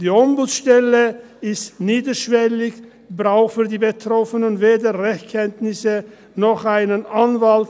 Die Ombudsstelle ist niederschwellig, es braucht für die Betroffenen weder Rechtskenntnisse noch einen Anwalt;